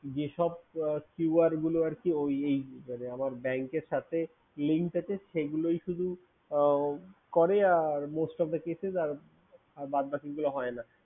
যেসব keywords গুলো আমার Bank র সাথে related সেগুলোই শুধু করে most of the cases আর বাদ বাকিগুলো হয় না